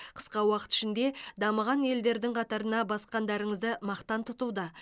қысқа уақыт ішінде дамыған елдердің қатарына басқандарыңызды мақтан тұтуда